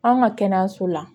An ka kɛnɛyaso la